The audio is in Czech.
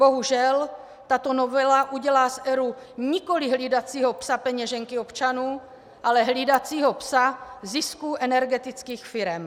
Bohužel, tato novela udělá z ERÚ nikoliv hlídacího psa peněženky občanů, ale hlídacího psa zisků energetických firem.